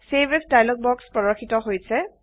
save as dialog box প্ৰৰ্দশিত হৈছে